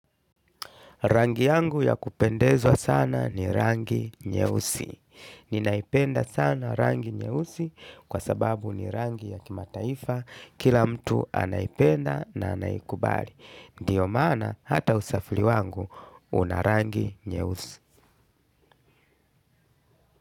Rangi yangu ya kupendezwa sana ni rangi nyeusi. Ninaipenda sana rangi nyeusi kwa sababu ni rangi ya kimataifa kila mtu anaipenda na anaikubali. Ndiyo mana hata usafili wangu unarangi nyeusi.